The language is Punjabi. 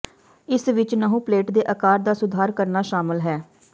ਇਸ ਵਿੱਚ ਨਹੁੰ ਪਲੇਟ ਦੇ ਆਕਾਰ ਦਾ ਸੁਧਾਰ ਕਰਨਾ ਸ਼ਾਮਲ ਹੈ